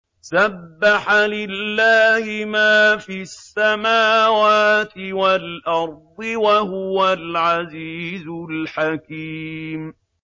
سَبَّحَ لِلَّهِ مَا فِي السَّمَاوَاتِ وَالْأَرْضِ ۖ وَهُوَ الْعَزِيزُ الْحَكِيمُ